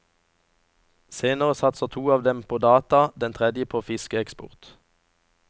Senere satser to av dem på data, den tredje på fiskeeksport.